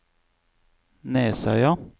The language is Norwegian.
Nesøya